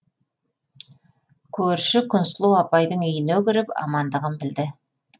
көрші күнсұлу апайдың үйіне кіріп амандығын білді